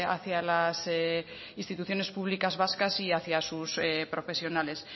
hacia las instituciones públicas vascas y hacia sus profesionales